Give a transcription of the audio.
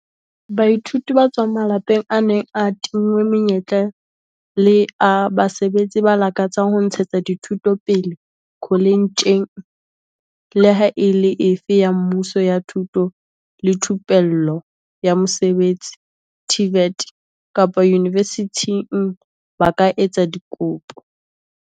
Baithuti ba tswang mala -peng a neng a tinngwe menyetla le a basebetsi ba lakatsang ho ntshetsa dithuto pele koletjheng leha e le efe ya mmuso ya thuto le thupello ya mosebetsi, TVET, kapa yunivesithing ba ka etsa dikopo.